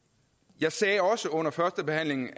jeg sagde også under førstebehandlingen